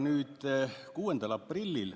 Nüüd see, mis toimus 6. aprillil.